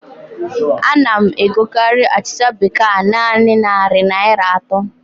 A na m egokarị achịcha bekee a naanị narị Naịra atọ